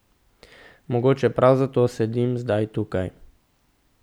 Mogoče prav zato sedim zdaj tukaj.